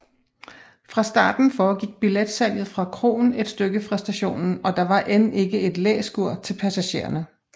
Fra starten foregik billetsalget fra kroen et stykke fra stationen og der var end ikke et læskur til passagererne